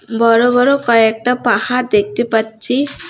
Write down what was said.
বড় বড় কয়েকটা পাহাড় দেখতে পাচ্ছি।